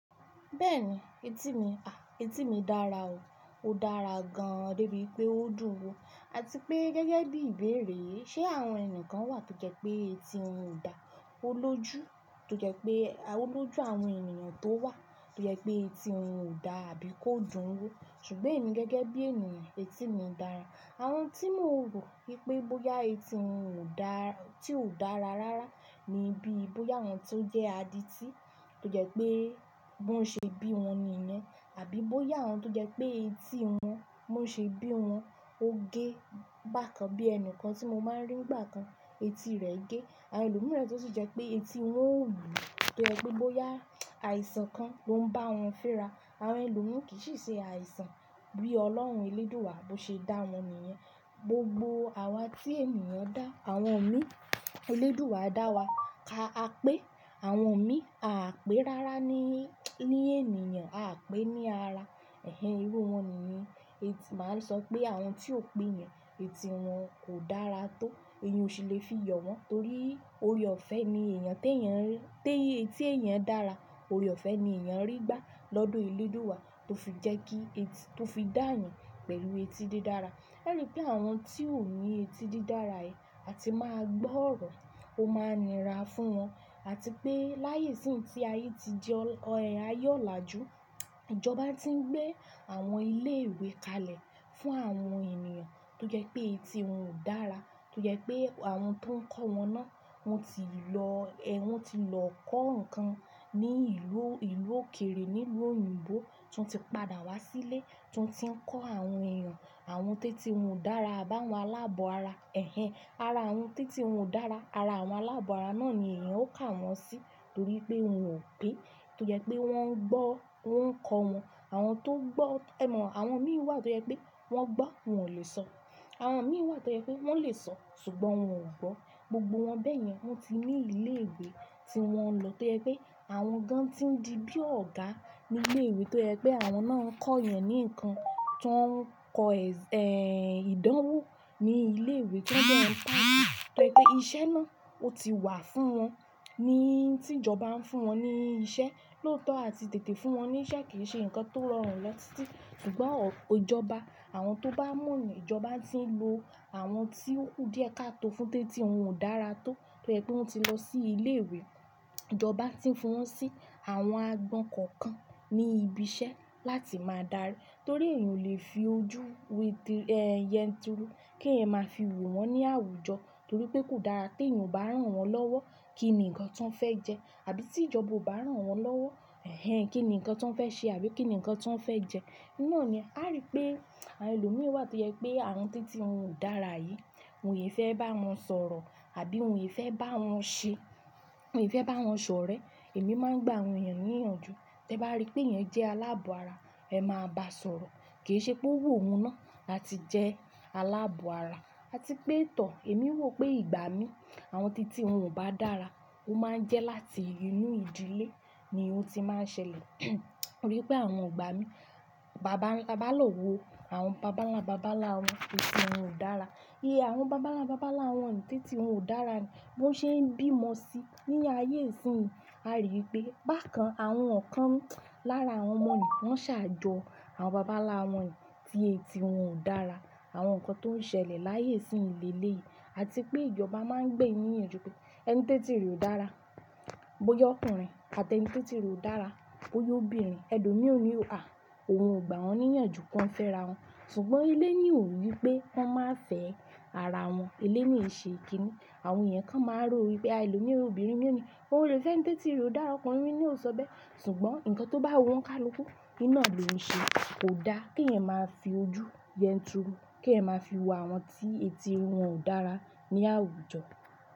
Bẹ́ẹ̀ni, etí mi a, etí mi dára o, ó dára gan-an dé bí wipé ó dùn wo àti pé gẹ́gẹ́ bí ìbéèrè yi ṣe àwọn ẹni kan wà tó jẹ pé etí wọn ò dá, ó lójú tó jẹ́ pé, ó lójú àwọn ènìyàn tó wà tó jẹ́ pé etí wọn ò dá àbí kó dùn wo ṣùgbọ́n èmi gẹ́gẹ́ bí ènìyàn etí mi dára. Àwọn tí mò rò wípé bóyá etí wọn ò dáa, tí ò dára rárá ni bí i bóyá àwọn tó jẹ́ adití tó jẹ́ pé bó ṣe bí wọn nìyẹn àbí bóyá àwọn tó jẹ́ pé etí wọn bó n ṣe bí wọn ó gé bákan bí ẹni kan tí mo máa ń rí nigbà kan etí rẹ̀ gé àwọn ẹlòmíràn tó sì jẹ́ pé etí wọn ò jé pe bóyá àìsàn kan ló ń bá wọn fẹ́ra àwọn ẹlòmíi kì í si ṣe àìsàn bí ọlọ́run elédùú wa bó ṣe dá wọn nìyẹn gbogbo àwa tí ènìyàn dá àwọn mi elédùú wa dá wa ká a pé àwọn mi a á pé rárá ní, ní ènìyàn a á pé ní ara ẹ̀hen irú wọn ni yen eti máa sọ pé àwọn tí o pé yẹn etí wọn kò dára tó èeyàn ò sí le fi yọ wọ́n torí orè ọ̀fẹ́ ni èèyàn tẹ́ eeyan rí, tẹ́yẹ etí èèyàn dára orè ọ̀fẹ́ ni èèyàn rí gbá lọ́dọ̀ elédùú wa tó fi jẹ́ kí ẹti, tó fi dá eeyan pẹ̀lú etí dí dára. A rí pé àwọn tí ò ní etí dí dára yìí a ti máa gbọ́ ọ̀rọ̀ ó máa n nira fún wọn àti pé láyé isínyì tí ayé ti di o ayé ọ̀làjú ìjọba tí ń gbé àwọn ilé ìwé kalẹ̀ fún àwọn ènìyàn tó jẹ́ pé etí wọn ò dára tó jẹ́ pé àwọn tó ń kọ́ wọn náà wọ́n ti lọ, wọ́n ti lọ kọ́ nǹkan ní ìlú, ìlú òkèrè nílú òyìnbó tí wọ́n ti padà wá sílé tí wọ́n ti ń kọ́ àwọn èèyàn àwọn tẹ́tí wọn ò dára abá àwọn aláàbọ̀ ara ẹ̀hen ara àwọn tẹ́tí wọn ò dára ara àwọn aláàbọ̀ ara náà ni èèyàn ó kà wọ́n sí torí pé wọn ò pé tó jẹ́ pé wọ́n ń gbọ́ wọ́n ń kọ́ wọn àwọn tó gbọ́ ẹ mọ̀ àwọn mí wà tó jẹ́ pé wọ́n gbọ́ wọn ò lè sọ àwọn mí wà tó jẹ́ pé wọ́n lè sọ ṣùgbọ́n wọn ò gbọ́ gbogbo wọn bẹ́yẹn wọ́n ti ní ilé ìwé tí wọn lọ tó jẹ́ pé àwọn gan tí ń di bí ọ̀gá ní ilé ìwé tó jẹ́ pé àwọn náà ń kọ́ eeyan ní nǹkan tí wọ́n ń kọ ìdánwò ní ilé ìwé tí wọ́n dẹ ń kọ́ èèyàn tóri pé iṣẹ́ náà ó ti wà fún wọn ní tí ìjọba ń fún wọn ní iṣẹ́ lóòótọ́ àti tètè fún wọn ní iṣẹ́ kì í ṣe nǹkan tó rọrùn lọ títí ṣùgbọ́n ọ̀, ìjọba àwọn tó bá mọ̀ nì ìjọba tí ń lo àwọn tí ó ku díẹ̀ káto fún tẹ́tí wọn ò dára tó tó yẹ́ pé wọ́n ti lọ sí ilé ìwé ìjọba tí ń fi wọn sí àwọn àgbọn kọ̀ọ̀kan ní ibi iṣẹ́ láti máa darí torí èèyàn ò lè fi ojú wéti ẹ́ yẹn turú kí èèyàn máa fi wò wọ́n ní àwùjọ torí pé kò dára kí èèyàn bá rán wọn lọ́wọ́ kíni nǹkan tí wọ́n fẹ́ jẹ àbí tí ìjọba ò bá rán wọn lọ́wọ́ ẹ̀hen kíni nǹkan tí wọ́n fẹ́ ṣe àbí kíni nǹkan tí wọ́n fẹ́ jẹ. Iná ni a rí pé àwọn ẹlòmíràn wà tó jẹ́ pé àwọn tẹ́tí wọn ò dára yìí wọ̀nyí fẹ́ bá wọn sọ̀rọ̀ àbí wọ̀n í fẹ́ bá wọn ṣe wọ̀n í fẹ́ bá wọn ṣọ̀rẹ́ èmi máa ń gba àwọn èèyàn ní ìyànjú tí ẹ bá rí pé èèyàn jẹ́ aláàbọ̀ ara ẹ máa bá sọ̀rọ̀ kì í ṣe pé ó wu ohun náà láti jẹ́ aláàbọ̀ ara àti pé tọ̀ èmi ò rò pé ìgbà mí àwọn tẹ́tí wọn ò bá dára ó máa ń jẹ́ láti inú ìdílé ni ó ti máa ń ṣẹlẹ̀ rí pé àwọn igba mí bàa bá lọ́ wo àwọn bàbánlábàbánlá wọn ẹ́tí wọn ò dára i àwọn bàbánlábàálá wọn tẹ́tí wọn ò dára ni bó ṣe ń bímọ sí ní ayé isíyìn a rí wipé bákan àwọn kan lára àwọn mọ̀nì wọ́n ṣàjọ àwọn bàbánláwọn ni tí etí wọn ò dára àwọn nǹkan tó ń ṣẹlẹ̀ láyé isiínyìn leleyi àti pé ìjọba máa ń gbé níyànjú pé ẹni tẹ́tí rẹ̀ ò dára bóyá ọkùnrin àti ẹni tẹ́tí rẹ̀ ò dára bóyá obìnrin ẹlo mí ò ní o à òun ò gba wọ́n ní ìyànjú kí wọ́n fẹ́ra wọn ṣùgbọ́n ilé ni ò wípé wọ́n máa fẹ́ ara wọn ilé ni ò ṣe ìkíni àwọn èèyàn kan máa ń ro wípé àwọn ẹlòmíràn obìnrin ni ó ní wọn ò lè fẹ́ ẹni tẹ́tí rẹ̀ ò dára ọkùnrin ni ó so bẹ́ẹ̀ ṣùgbọ́n nǹkan tó bá wò wọ́n ká lọ kú iná ni òun ṣe kò dá kí èèyàn máa fi ojú yẹn tìrú kí èèyàn máa fi wo àwọn tí etí wọn ò dára ní àwùjọ.